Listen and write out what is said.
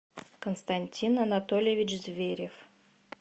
константин анатольевич зверев